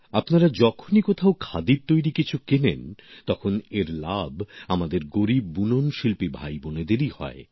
আপনারা যখনই কোথাও খাদির তৈরি কিছু কেনেন তখন এর লাভ আমাদের গরীব তন্তুবায় ভাইবোনেদেরই হয়